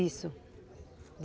Isso.